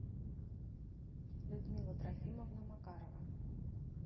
людмила трофимовна макарова